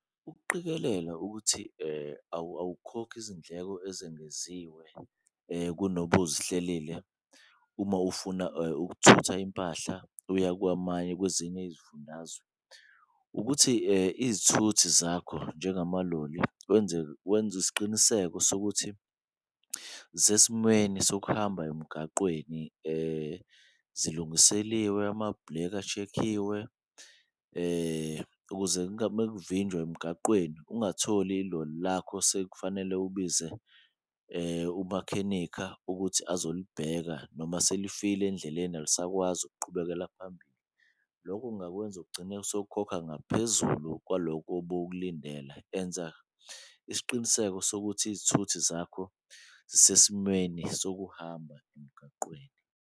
Ukuqikelela ukuthi awukhokhi izindleko ezengeziwe kunobuzihlelile uma ufuna ukuthutha impahla uya kwezinye izifundazwe, ukuthi izithuthi zakho njengamaloli wenze isiqiniseko sokuthi zisesimweni sokuhamba emgaqweni . Zilungiseliwe, amabhuleki ashekiwe ukuze emgaqweni ungatholi iloli lakho sekufanele ubize umakhenikha ukuthi azolibheka noma selifile endleleni alisakwazi ukuqhubekela phambili, loko kungakwenza ugcine sowukhokha ngaphezulu kwaloko bewukulindele. Enza isiqiniseko sokuthi izithuthi zakho zisesimweni sokuhamba emgaqweni.